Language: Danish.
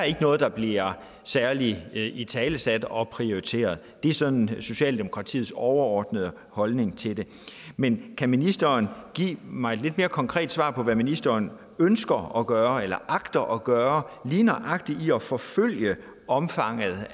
ikke noget der bliver særlig italesat og prioriteret det er sådan socialdemokratiets overordnede holdning til det men kan ministeren give mig et lidt mere konkret svar på hvad ministeren ønsker at gøre eller agter at gøre lige nøjagtig at forfølge omfanget